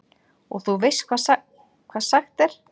Og þú veist hvað sagt er?